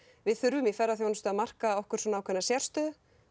við þurfum í ferðaþjónustu að marka okkur sérstöðu